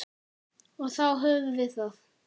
Og þá höfum við það.